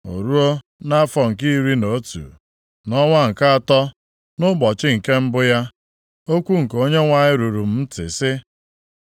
O ruo, nʼafọ nke iri na otu, nʼọnwa nke atọ, nʼụbọchị nke mbụ ya, okwu nke Onyenwe anyị ruru m ntị, sị,